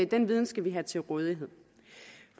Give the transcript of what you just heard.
den viden skal vi have til rådighed